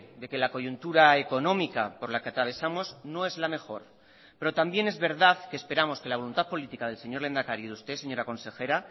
de que la coyuntura económica por la que atravesamos no es la mejor pero también es verdad que esperamos que la voluntad política del señor lehendakari y de usted señora consejera